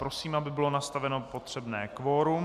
Prosím, aby bylo nastaveno potřebné kvorum.